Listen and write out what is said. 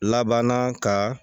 Laban ka